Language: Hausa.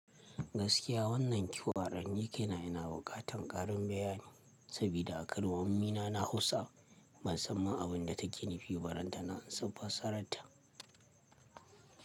Gaskiya wannan kiwar ni kaina ina ina bukatan karin bayani, sabida a kalmomi na Hausa ban san abun da take nufi ba ranta na an san fasararta.